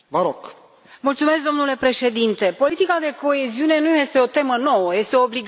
Domnule președinte, politica de coeziune nu este o temă nouă, este o obligație în Tratat.